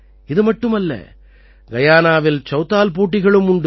இது மட்டுமல்ல கயானாவில் சௌதால் போட்டிகளும் உண்டு